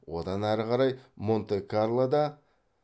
одан ары қарай монте карлода